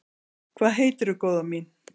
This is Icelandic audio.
Hvað heitirðu, góða mín?